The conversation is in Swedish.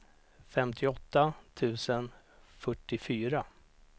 femtioåtta tusen fyrtiofyra